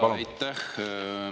Jaa, aitäh!